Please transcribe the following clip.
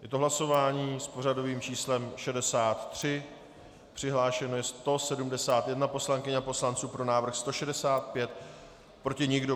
Je to hlasování s pořadovým číslem 63, přihlášeno je 171 poslankyň a poslanců, pro návrh 165, proti nikdo.